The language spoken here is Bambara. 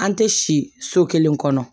An tɛ si so kelen kɔnɔ